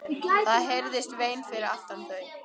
Það heyrðist vein fyrir aftan þau.